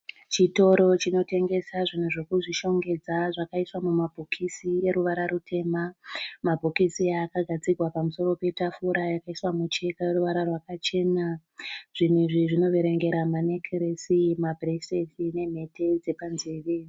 Chitoro chinotengesa zvinhu zvekuzvishongedza zvakaiswa mumabhokisi eruvara rutema, mabhokisi aya akagadzikwa pamusoro petafura yakaiswa mucheka ineruvara rwakachena zvinhu izvi zvinoverengera manekiresi mabhurireti nemhete dzepanzeve.